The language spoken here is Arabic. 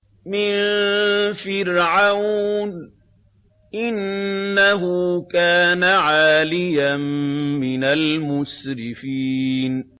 مِن فِرْعَوْنَ ۚ إِنَّهُ كَانَ عَالِيًا مِّنَ الْمُسْرِفِينَ